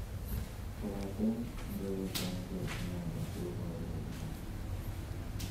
Kobaten ngoyetenge inendet koboru koliponi.